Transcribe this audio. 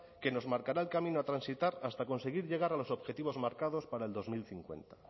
que nos marcará el camino a transitar hasta conseguir llegar a los objetivos marcados para el dos mil cincuenta